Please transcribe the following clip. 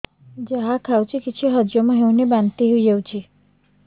ଯାହା ଖାଉଛି କିଛି ହଜମ ହେଉନି ବାନ୍ତି ହୋଇଯାଉଛି